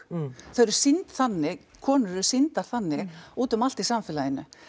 þau eru sýnd þannig konur eru sýndar þannig úti um allt í samfélaginu